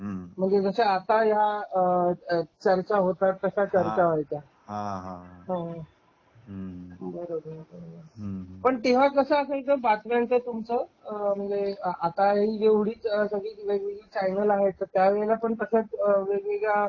हा म्हणजे जश्या आता या चर्चा होतात तशा चर्चा व्हायच्या. हम्म पण तेव्हा कसं असायचं बातम्याच तुमच एवढी वेगवेगळी चॅनेल आहेत त्यावेळेस पण तसच वेगवेगळे हां